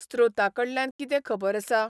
स्रोता कडल्यान किदें खबर आसा ?